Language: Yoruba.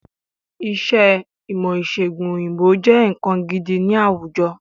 Iṣẹ́ ìmọ̀-ìṣẹ̀gùn òyìnbó jẹ́ nǹkan gidi ni àwùjọ.